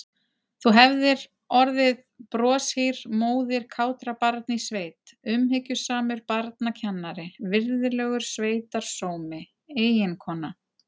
Þú hefðir orðið broshýr móðir kátra barna í sveit, umhyggjusamur barnakennari, virðulegur sveitarsómi, eiginkona.